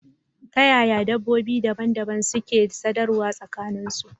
Ta yaya dabbobi dabam-dabam suke sadarwa tsakanin su?